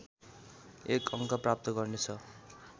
एक अङ्क प्राप्त गर्नेछ